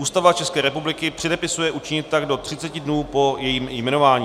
Ústava České republiky předepisuje učinit tak do 30 dní po jejím jmenování.